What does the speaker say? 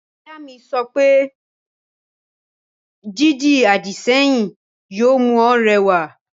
Ìyá mi yóò sọ wípé, 'Dídi àdìsẹ́yìn yóò mú ọ rẹwà'